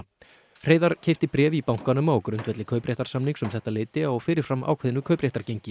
Hreiðar keypti bréf í bankanum á grundvelli kaupréttarsamnings um þetta leyti á fyrir fram ákveðnu